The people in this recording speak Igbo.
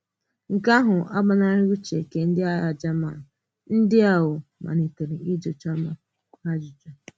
Nke um à agbanarìghị uche nke ndị aghà German, ndị um malitere ịjụ Chioma ajụjụ.